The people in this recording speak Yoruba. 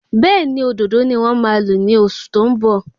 Béèni òdòdó ni wón máa lo ni oṣù tó ń bọ̀